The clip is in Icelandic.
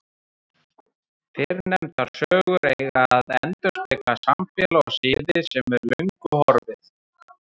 Fyrrnefndar sögur eiga að endurspegla samfélag og siði sem er löngu horfið.